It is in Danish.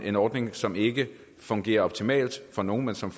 en ordning som ikke fungerer optimalt for nogle men som